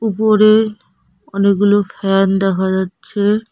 উপরে অনেকগুলো ফ্যান দেখা যাচ্ছে।